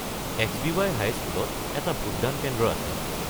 XBY. হাইস্কুলত এটা ভোটদান কেন্দ্ৰ আছে।